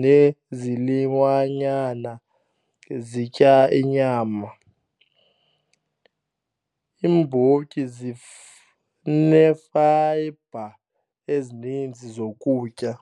nezilwanyana zitya inyama. Iimbotyi zinefayibha ezininzi zokutya.